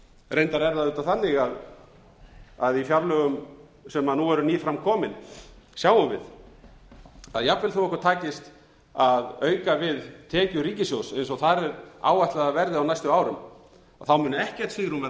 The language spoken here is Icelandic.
reyndar er það auðvitað þannig að í fjárlögum sem nú eru ný framkomin sjáum við að jfanvel þó okkur takist að auka við tekjur ríkissjóðs eins og þar er áætlað að verði á næstu árum mun ekkert svigrúm verða